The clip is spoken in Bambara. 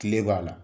Kile b'a la